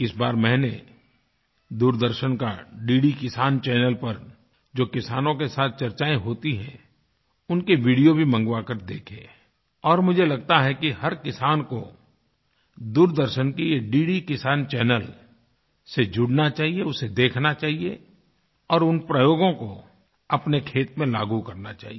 इस बार मैंने दूरदर्शन का डिड किसान चैनल पर जो किसानों के साथ चर्चाएं होती हैंउनके वीडियो भी मंगवा कर देखे और मुझे लगता है कि हर किसान को दूरदर्शन की ये डिड किसान चैनल से जुड़ना चाहिए उसे देखना चाहिए और उन प्रयोगों को अपने खेत में लागू करना चाहिए